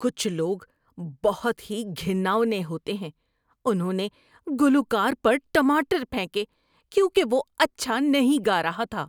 کچھ لوگ بہت ہی گھناؤنے ہوتے ہیں۔ انہوں نے گلوکار پر ٹماٹر پھینکے کیونکہ وہ اچھا نہیں گا رہا تھا۔